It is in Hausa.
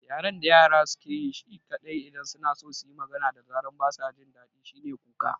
Yaren da yara suke yi kaɗai idan suna so suyi magana da zaran basa jin daɗi shine kuka